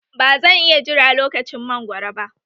Ba zan iya jira lokacin mangwaro ba